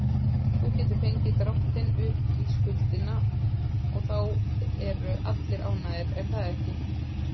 Þú getur fengið dráttinn upp í skuldina og þá eru allir ánægðir, er það ekki?